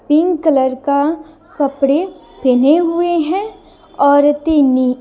pink colour का कपड़े पहने हुए हैं औरतीनी--